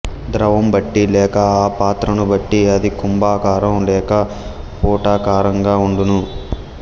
ద్రవం బట్టి లేక ఆ పాత్రను బట్టి అది కుంభాకారం లేక పుటాకారంగా ఉండును